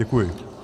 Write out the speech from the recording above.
Děkuji.